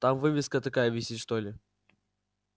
там вывеска такая висит что ли